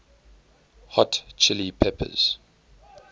hot chili peppers